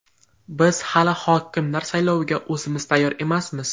Biz hali hokimlar sayloviga o‘zimiz tayyor emasmiz.